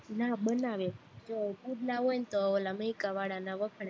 ના બનાવે પુડલા હોય તો ઓલ મૈકા વાળાના વખણાય